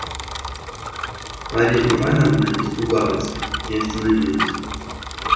марья ивановна испугалась и остановилась